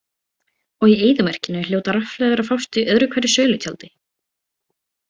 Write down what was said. Og í eyðimörkinni hljóta rafhlöður að fást í öðru hverju sölutjaldi.